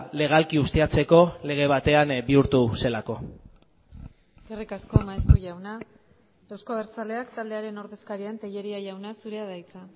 legalki ustiatzeko lege batean bihurtu zelako eskerrik asko maeztu jauna euzko abertzaleak taldearen ordezkaria tellería jauna zurea da hitza